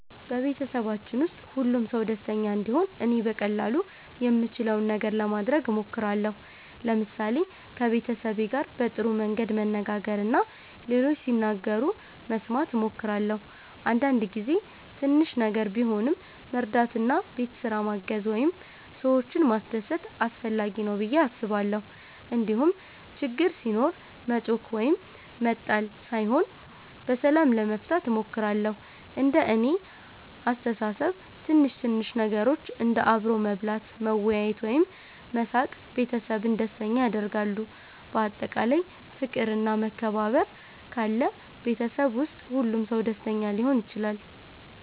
በቤተሰባችን ውስጥ ሁሉም ሰው ደስተኛ እንዲሆን እኔ በቀላሉ የምችለውን ነገር ለማድረግ እሞክራለሁ። ለምሳሌ ከቤተሰቤ ጋር በጥሩ መንገድ መነጋገር እና ሌሎች ሲናገሩ መስማት እሞክራለሁ። አንዳንድ ጊዜ ትንሽ ነገር ቢሆንም መርዳት እንደ ቤት ስራ ማገዝ ወይም ሰዎችን ማስደሰት አስፈላጊ ነው ብዬ አስባለሁ። እንዲሁም ችግር ሲኖር መጮኽ ወይም መጣል ሳይሆን በሰላም ለመፍታት እሞክራለሁ። እንደ እኔ አስተሳሰብ ትንሽ ትንሽ ነገሮች እንደ አብሮ መብላት፣ መወያየት ወይም መሳቅ ቤተሰብን ደስተኛ ያደርጋሉ። በአጠቃላይ ፍቅር እና መከባበር ካለ ቤተሰብ ውስጥ ሁሉም ሰው ደስተኛ ሊሆን ይችላል።